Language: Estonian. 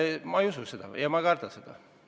Ma ei usu seda ja ma ei karda seda.